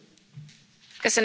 Elnök Asszony!